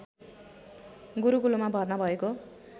गुरुकुलमा भर्ना भएको